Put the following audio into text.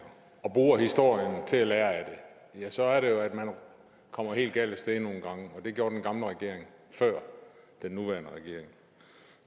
og bruger historien til at lære af det så er det jo at man kommer helt galt af sted nogle gange og det gjorde den gamle regering før den nuværende regering